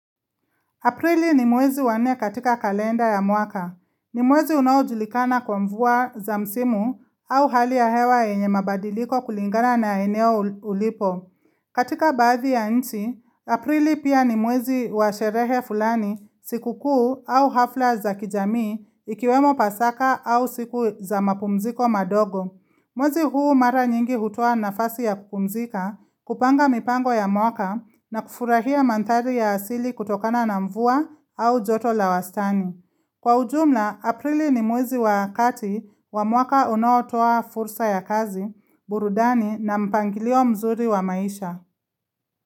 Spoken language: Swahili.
Aprili ni mwezi wa nne katika kalenda ya mwaka. Ni mwezi unaojulikana kwa mvua za msimu au hali ya hewa yenye mabadiliko kulingana na eneo ulipo. Katika baathi ya nchi, Aprili pia ni mwezi wa sherehe fulani sikukuu au hafla za kijamii ikiwemo pasaka au siku za mapumziko madogo. Mwezi huu mara nyingi hutoa nafasi ya kupumzika, kupanga mipango ya mwaka na kufurahia manthari ya asili kutokana na mvua au joto la wastani. Kwa ujumla, aprili ni mwezi wa kati wa mwaka unaotoa fursa ya kazi, burudani na mpangilio mzuri wa maisha.